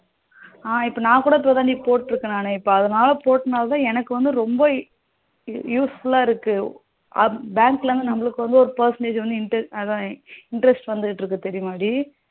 அஹ இப்போ நா கூட இப்போதான் டி போட்ருக்கேன் நானு இப்போ அதனால போட்டானலாத எனக்கு வந்து ரொம்ப useful லா இருக்கு bank ல வந்து நமளுக்கு வந்து ஒரு Percentage அதா interest வந்துகிட்டு இருக்கு தெரியுமா டி